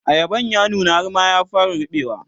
ayaban ya nuna har ma ya fara ruɓewa